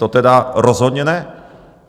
To teda rozhodně ne!